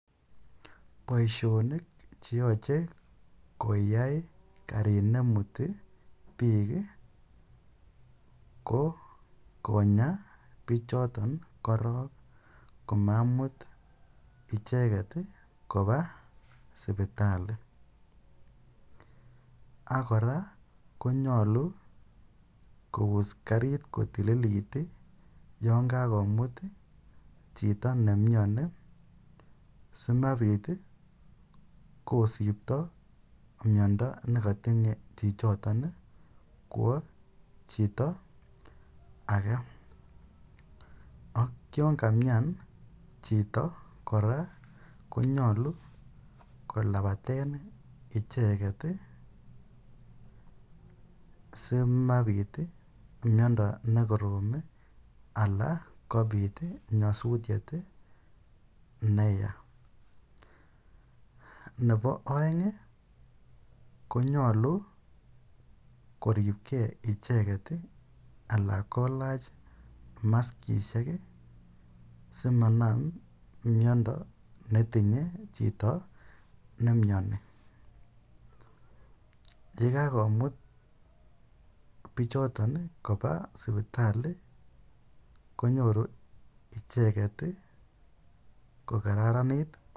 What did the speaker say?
Boishonik cheyoche koyai karit nemuti biik ko konyaa bichoton korong komamut icheket kobaa sibitali ak kora konyolu kous kariit kotililit yoon kakomut chito nemioni simabit kosibto miondo nekotinye chichoton kwoo chito akee ak yoon kamian chito kora konyolu kolabaten icheket simabit miondo nekorom alaa kobit nyosutiet neyaa, nebo oeng konyolu koripke icheket alaa kolach maskisiek simanam miondo netinye chito nemioni, yekakomut bichoton kobaa sibitali konyoru icheket ko kararanit.